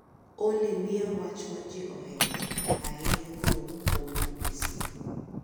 olly miya wach ma ji ohero ahinya kowuok kuom b. b. c.